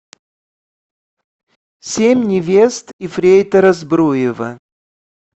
семь невест ефрейтора збруева